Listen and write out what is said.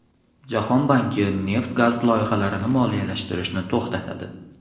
Jahon banki neft-gaz loyihalarini moliyalashtirishni to‘xtatadi.